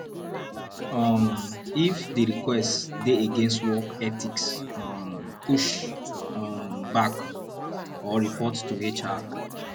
um if di request dey against work ethics um push um back or report to hr